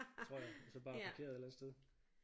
Tror jeg og så bare parkeret et eller andet sted